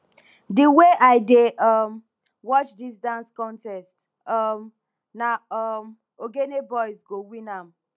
di wey i dey um watch dis dance contest um na um ogene boys go win am